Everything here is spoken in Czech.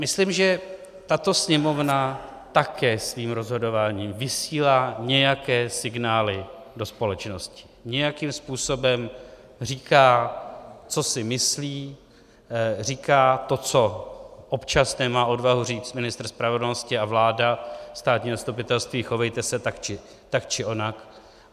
Myslím, že tato Sněmovna také svým rozhodováním vysílá nějaké signály do společnosti, nějakým způsobem říká, co si myslí, říká to, co občas nemá odvahu říct ministr spravedlnosti a vláda: státní zastupitelství, chovejte se tak či onak.